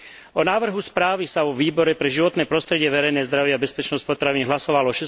O návrhu správy sa vo Výbore pre životné prostredie, verejné zdravie a bezpečnosť potravín hlasovalo